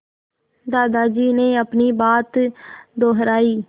दादाजी ने अपनी बात दोहराई